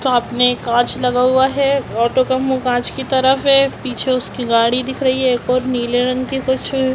सामने एक कांच लगा हुआ है ऑटो का मुंह कांच की तरफ है पीछे उसकी गाड़ी दिख रही है एक ओर नीले रंग की कुछ--